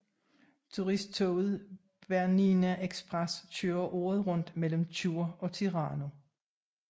Turisttoget Bernina Express kører året rundt mellem Chur og Tirano